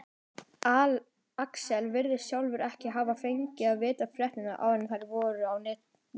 Alex virðist sjálfur ekki hafa fengið að vita fréttirnar áður en þær fóru á netið.